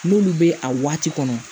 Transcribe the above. N'olu bɛ a waati kɔnɔ